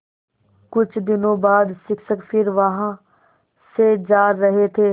कुछ दिनों बाद शिक्षक फिर वहाँ से जा रहे थे